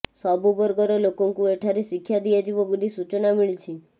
ସବୁ ବର୍ଗର ଲୋକଙ୍କୁ ଏଠାରେ ଶିକ୍ଷା ଦିଆଯିବ ବୋଲି ସୂଚନା ମିଳିଛି